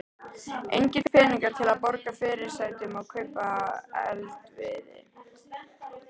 Engir peningar til að borga fyrirsætunum og kaupa eldivið.